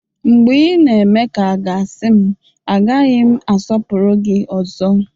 Mgbe ị na-eme ka a ga-asị m, agaghị m asọpụrụ gị ọzọ